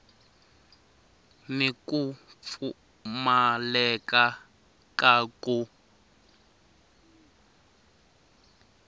ni ku pfumaleka ka ku